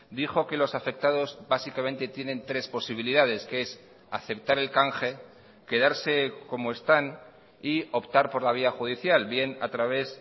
dijo que los afectados básicamente tienen tres posibilidades que es aceptar el canje quedarse como están y optar por la vía judicial bien a través